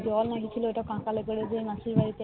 জল নিয়ে গিয়েছিলো মাথায় করে মাসি বাড়িতে